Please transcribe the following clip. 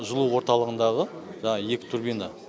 жылу орталығындағы жаңағы екі турбина